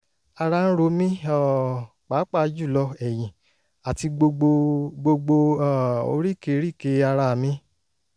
ara ń ro mi um pàápàá jùlọ ẹ̀yiǹn àti gbogbo gbogbo um oríkèéríkèé ara mi